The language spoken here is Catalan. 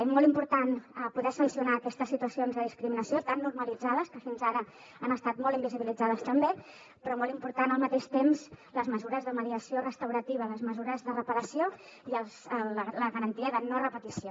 és molt important poder sancionar aquestes situacions de discriminació tan normalitzades que fins ara han estat molt invisibilitzades també però són molt importants al mateix temps les mesures de mediació restaurativa les mesures de reparació i la garantia de no repetició